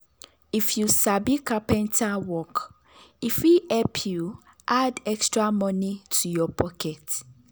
if you sabi carpenter work e fit help you add extra money to your pocket.